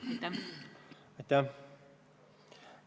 Aitäh!